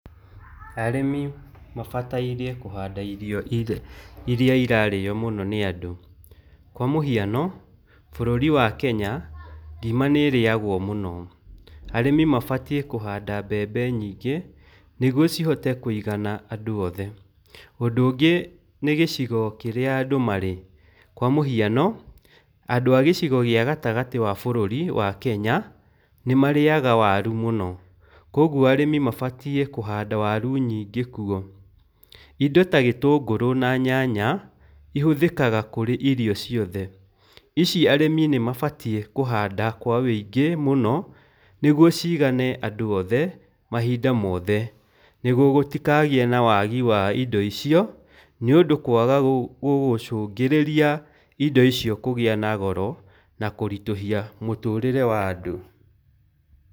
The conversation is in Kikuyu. Arĩmi mabatairie kũhanda irio iria irarĩo mũno nĩ andũ, kwa mũhiano bũrũri wa Kenya, ngima nĩrĩagwo mũno, arĩmi mabatie kũhanda mbembe nyingĩ nĩguo cihote kũigana andũ othe, ũndũ ũngĩ nĩgĩcigo kĩrĩa andũ marĩ, kwa mũhiano andũ a gĩcigo kĩa gatagatĩ kĩa bũrũri wa Kenya nĩmarĩaga waru mũno, kwoguo arĩmi mabatie kũhanda waru nyingĩ kuo, indo ta gĩtũngũrũ na nyanya, ĩhũthĩkaga kũrĩ irio ciothe, ici arĩmi nĩmabatie kũhanda kwa ũingĩ mũno nĩguo cigane andũ othe mahinda mothe nĩguo gũtikagĩe na waagi wa indo icio nĩũndũ kwaga gũgũcungĩrĩria indo icio kũgĩa na goro na kũritũhia mũtũrĩre wa andũ.